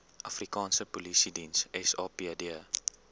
afrikaanse polisiediens sapd